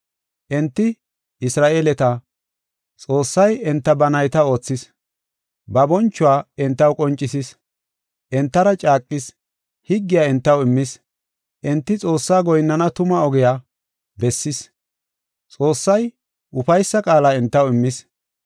Enti Isra7eeleta, Xoossay enta ba nayta oothis, ba bonchuwa entaw qoncisis. Entara caaqis; higgiya entaw immis. Enti Xoossaa goyinnana tuma ogiya bessis; Xoossay ufaysa qaala entaw immis.